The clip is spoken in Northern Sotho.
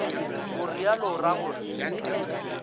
o realo o ra gore